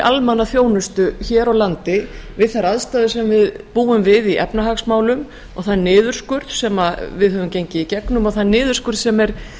almannaþjónustu hér á landi við þær aðstæður sem við búum við í efnahagsmálum og þann niðurskurð sem við höfum gengið í gegnum og þann niðurskurð sem er